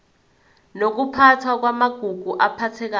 nokuphathwa kwamagugu aphathekayo